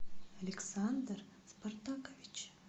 александр спартакович